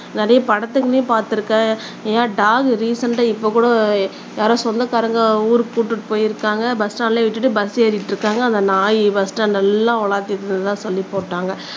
நிறைய படத்துகள்லேயும் பாத்துருக்கேன் ஏன் டாக் ரீசண்டா இப்போ கூட யாரோ சொந்தக்காரங்க ஊருக்கு கூட்டிட்டிடு போயிருக்காங்க பஸ் ஸ்டாண்ட்லயே விட்டுட்டு பஸ் ஏறிட்டாங்க அந்த நாய் பஸ் ஸ்டாண்ட் எல்லாம் உலாத்திட்டு இருந்ததா சொல்லி போட்டாங்க